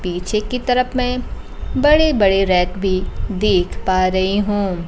पीछे की तरफ में बड़े बड़े रैक भी देख पा रही हूं।